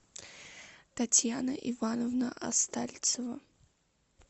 татьяна ивановна остальцева